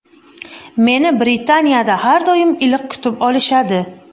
Meni Britaniyada har doim iliq kutib olishadi.